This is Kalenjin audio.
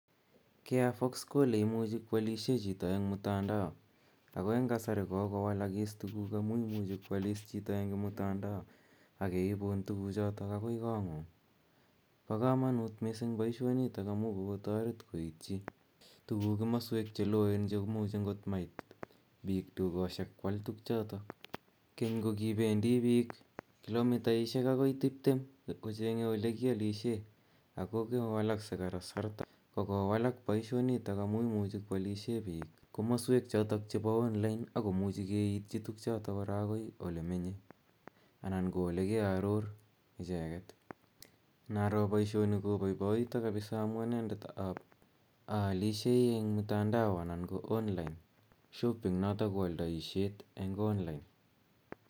Carrefour ko ole imuchi ko alishe chito eng' mtandao. Ago eng' kasari ko kolowalak tuguuk amu imuchi ko alis chito eng' mtandao, ak keipuun tuguchotok akoi kong'ung'. Pa kamanuut missing' poishoni amu kokomuch koitchi tuguuk komaswek che loen missing che imuchi angot mait piik dukoshek koal tugchotok. Keny ko kipendi piik kilomitaishiek akoi tiptem kocheng'e ole kialishe, ako kowalaksei kasarta , kokowalak poishonitok amu imuchi koalishe piik komasweek chotok che online, ako muchi keiitchi tugchotok akoi ole menye, anan ko ole ke aror icheget. Inaro poishoni kopaipaita kapisa amu anendet aalishei eng' mtandao anan ko (c) online shopping notok ko aldaishet eng' online.